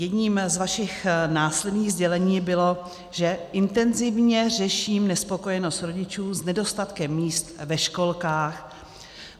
Jedním z vašich následných sdělení bylo, že "intenzivně řeším nespokojenost rodičů s nedostatkem míst ve školkách".